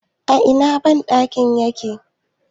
a Ina bandakin yake?